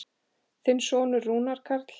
Þinn sonur, Rúnar Karl.